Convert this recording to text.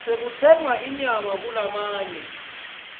tekutsenga inyama kulamanye